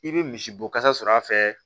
I bɛ misibo kasa sɔrɔ a fɛ